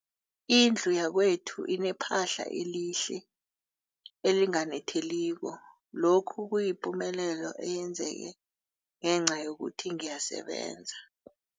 Indlu yakwethu inephahla elihle, elinganetheliko, lokhu kuyipumelelo eyenzeke ngenca yokuthi ngiyasebenza.